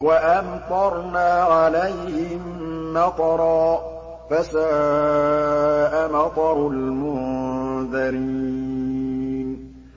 وَأَمْطَرْنَا عَلَيْهِم مَّطَرًا ۖ فَسَاءَ مَطَرُ الْمُنذَرِينَ